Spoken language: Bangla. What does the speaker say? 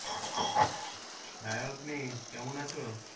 হ্যাঁ আম্মি কেমন আছো?